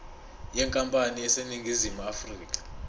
yenkampani eseningizimu afrika